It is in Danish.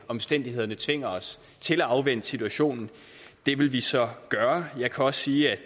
omstændighederne tvinger os til at afvente situationen det vil vi så gøre jeg kan også sige at